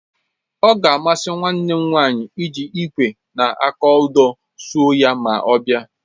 Ọ ga-amasị nwanne m nwaanyị iji ịkwé na aka odo sụọ ya ma ọ bịa